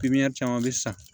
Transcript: caman bɛ san